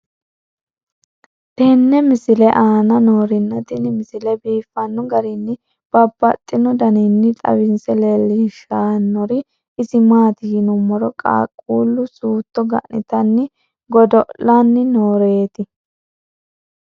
tenne misile aana noorina tini misile biiffanno garinni babaxxinno daniinni xawisse leelishanori isi maati yinummoro qaaqqullu sutto ga'nittanni godo'lanni nooreetti